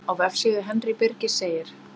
Á vefsíðu Henry Birgis segir: